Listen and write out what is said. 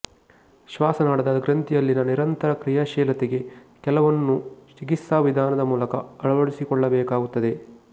ಶ್ವಾಸನಾಳದ ಗ್ರಂಥಿಯಲ್ಲಿನ ನಿರಂತರ ಕ್ರಿಯಾಶೀಲತೆಗೆ ಕೆಲವನ್ನು ಚಿಕಿತ್ಸಾ ವಿಧಾನದ ಮೂಲಕ ಅಳವಡಿಸಿಕೊಳ್ಲಬೇಕಾಗುತ್ತದೆ